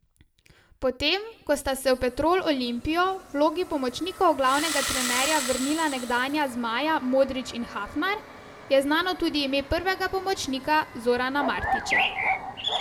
Potem, ko sta se v Petrol Olimpijo v vlogi pomočnikov glavnega trenerja vrnila nekdanja zmaja Modrić in Hafnar, je znano tudi ime prvega pomočnika Zorana Martića.